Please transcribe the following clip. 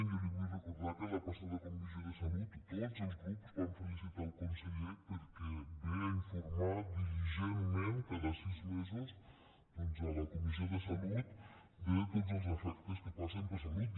jo li vull recordar que a la passada comissió de salut tots els grups vam felicitar el conseller perquè ve a informar diligentment cada sis mesos a la comissió de salut de tots els defectes que passen per salut